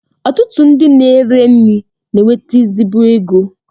Ọtụtụ ndị na-ere nri na-enweta ezigbo ego